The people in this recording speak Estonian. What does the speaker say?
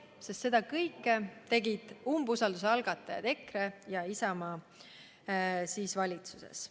Räägin sellepärast, et seda kõike tegid umbusalduse algatajad EKRE ja Isamaa valitsuses olles.